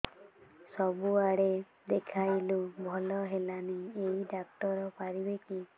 ସବୁଆଡେ ଦେଖେଇଲୁ ଭଲ ହେଲାନି ଏଇ ଡ଼ାକ୍ତର ପାରିବେ କି